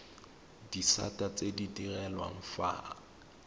disata tse di direlwang fa